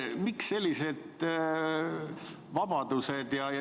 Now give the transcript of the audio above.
Miks sellised vabadused?